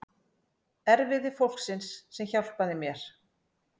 Erfiði fólksins sem hjálpaði mér.